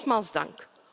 Nogmaals dank.